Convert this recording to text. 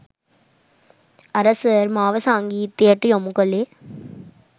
අර සර් මාව සංගීතයට යොමු කළේ